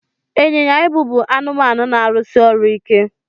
Ịnyịnya ibu bụ anụ na-arụsi ọrụ ike.